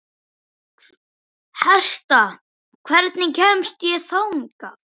Herta, hvernig kemst ég þangað?